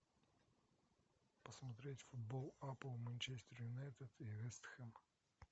посмотреть футбол апл манчестер юнайтед и вест хэм